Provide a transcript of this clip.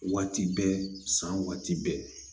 Waati bɛ san waati bɛɛ